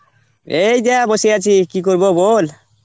এই যে অ্যাঁ বসে আছি, কী করব বল?